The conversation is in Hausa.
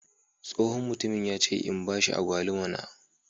Tsohon mutumin ya ce in bashi Agwaluma na.